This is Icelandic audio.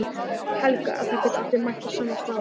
Helga: En það geta allir mætt á sama hvaða aldri?